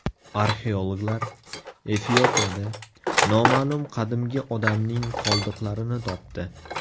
Arxeologlar Efiopiyada noma’lum qadimgi odamning qoldiqlarini topdi.